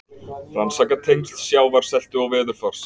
Rannsaka tengsl sjávarseltu og veðurfars